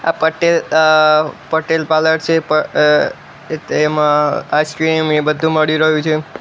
આ પટેલ અ પટેલ પાર્લર છે પ અ તેમા આઈસ્ક્રીમ એ બધુ મળી રહ્યુ છે.